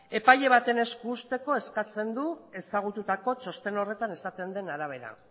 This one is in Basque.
epaile baten esku uzteko eskatzen du ezagututako txosten horretan esaten den arabera